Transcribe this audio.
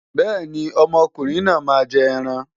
Bẹ́ẹ̀ni, ọmọ ọkùnrin náà máa jẹ ẹran.